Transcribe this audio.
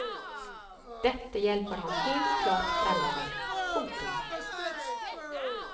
Dette hjelper ham helt klart fremover. punktum